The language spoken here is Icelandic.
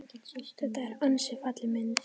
Þetta er ansi falleg mynd.